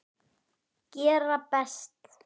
Gera best.